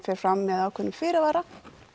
fer fram með ákveðnum fyrirvara